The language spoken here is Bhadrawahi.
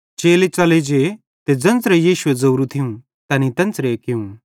चेले च़ले जे ते ज़ेन्च़रे यीशुए ज़ोरू थियूं तैनेईं तेन्च़रे कियूं